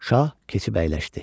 Şah keçib əyləşdi.